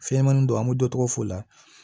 Fɛnɲɛnɛmanin don an bɛ dɔ tɔgɔ f'o la